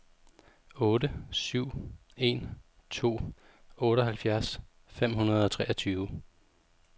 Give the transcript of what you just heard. otte syv en to otteoghalvfjerds fem hundrede og treogtyve